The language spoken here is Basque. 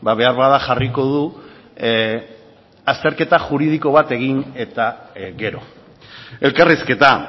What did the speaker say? beharbada jarriko du azterketa juridiko bat egin eta gero elkarrizketa